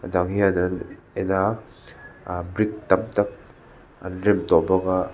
a dang hian annn en a ahh brick tam tak an rem tawh bawk a.